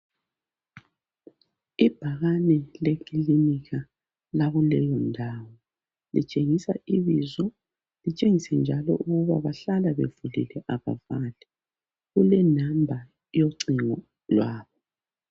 Ibhakani lekilinika lakuleyindawo litshengisa ibizo litshengise njalo ukuba bahlala bevulile abavali. Kulenamba yocingo lwabo.